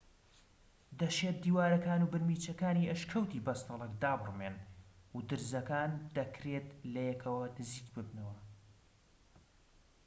دەشێت دیوارەکان و بنمیچەکانی ئەشکەوتی بەستەڵەک دابڕمێن و درزەکان دەکرێت لەیەکەوە نزیک ببنەوە